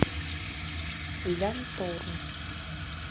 лянтору